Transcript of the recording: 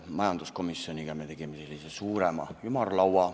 Majanduskomisjonis me tegime suurema ümarlaua.